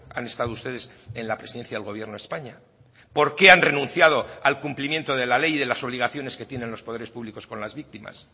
han estado ustedes en la presidencia del gobierno de españa por qué han renunciado al cumplimiento de la ley de las obligaciones que tienen los poderes públicos con las víctimas